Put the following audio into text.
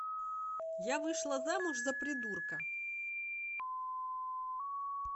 я вышла замуж за придурка